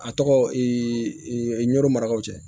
A tɔgɔ n'o marakaw cɛ